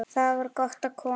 Þar var gott að koma.